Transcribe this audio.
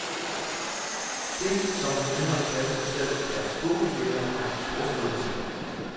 Det, som han selv ynder at kalde sig, er storvildtjæger og storskrydende.